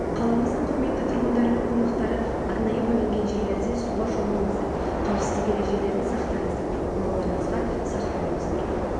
қаламыздың құрметті тұрғындары мен қонақтары арнайы бөлінген жерлерде суға шомылыңыздар қауіпсіздік ережелерін сақтаңыздар балаларыңызға сақ болыңыздар ішімдік пен суға щомылу сыйыспайтын